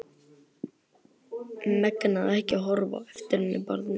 Megnaði ekki að horfa á eftir henni, barninu.